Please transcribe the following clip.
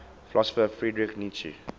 philosopher friedrich nietzsche